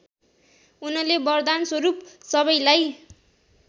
उनले वरदानस्वरूप सबैलाई